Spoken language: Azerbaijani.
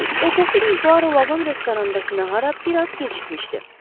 Ertəsi gün Puaro vaqon restorandakı nahara biraz gecikmişdi.